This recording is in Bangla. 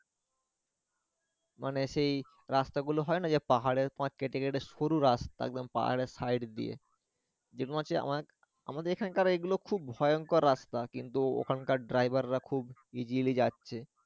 মানে সেই রাস্তাগুলো হয় না যে পাহাড়ের পাড় কেটে কেটে শুরু রাস্তা একদম পাহাড়েই side দিয়ে যে তোমার হচ্ছে আমাদের এখানকার এগুলো খুব ভয়ংকর রাস্তা কিন্তু ওখানকার driver রা খুব easily যাচ্ছে।